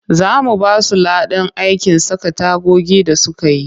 Za mu ba su ladan aikin saka tagogi da suka yi